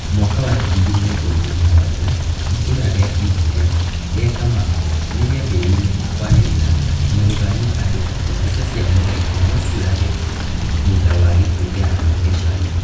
Mwaka wa ngiri igĩrĩ na ikũmi na mũgwanja itũra rĩa Ibdia rĩa kamakwa nirĩambĩrĩirie kwanĩrĩra na gũkania andũ atĩ mbica cia mũrengo no ciũrage thutha wa gĩkuũ kĩa anake ana